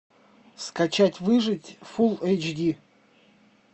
скачать выжить фул эйч ди